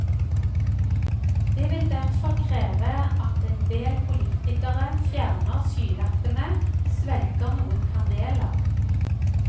Det vil derfor kreve at en del politikere fjerner skylappene og svelger noen kameler.